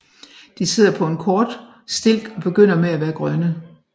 De sidder på en kort stilk og begynder med at være grønne